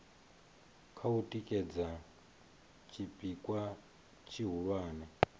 kha u tikedza tshipikwa tshihulwane